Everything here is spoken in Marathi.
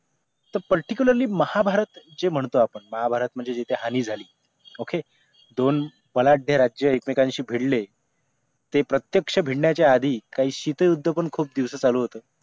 तर particularly महाभारत जे म्हणतो आपण महाभारत म्हणजे जिथे हानी झाली OK दोन बलाढ्य राज्य एकमेकांशी भिडले ते प्रत्यक्ष भिडण्याचा आधी काही शिते उद्योपण खूप दिवस चालू होत